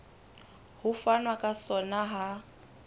ho fanwa ka sona ha